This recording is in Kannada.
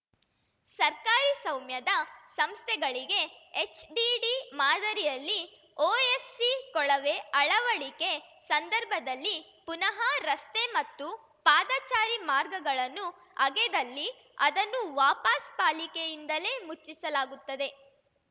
ಸರ್ಕಾರಿ ಸೌಮ್ಯದ ಸಂಸ್ಥೆಗಳಿಗೆ ಎಚ್‌ಡಿಡಿ ಮಾದರಿಯಲ್ಲಿ ಓಎಫ್‌ಸಿ ಕೊಳವೆ ಅಳವಡಿಕೆ ಸಂದರ್ಭದಲ್ಲಿ ಪುನಃ ರಸ್ತೆ ಮತ್ತು ಪಾದಚಾರಿ ಮಾರ್ಗಗಳನ್ನು ಅಗೆದಲ್ಲಿ ಅದನ್ನು ವಾಪಸ್‌ ಪಾಲಿಕೆಯಿಂದಲೇ ಮುಚ್ಚಿಸಲಾಗುತ್ತದೆ